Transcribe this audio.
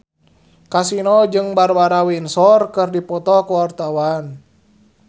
Kasino jeung Barbara Windsor keur dipoto ku wartawan